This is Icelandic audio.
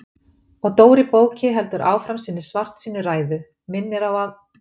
Og Dóri bóki heldur áfram sinni svartsýnu ræðu, minnir á að